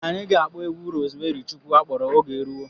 Anyị ga-akpọ egwu Rozmeri Chukwu akpọrọ 'Oge Eruwo'.